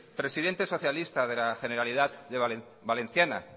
presidente socialista de la generalitat valenciana